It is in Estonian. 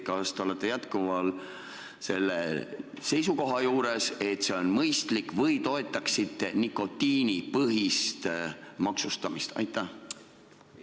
Kas te olete jätkuvalt selle seisukoha juures, et see on mõistlik, või toetaksite nikotiinipõhist maksustamist?